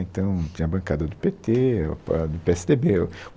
Então, tinha a bancada do pê tê, o pa, pê esse dê bê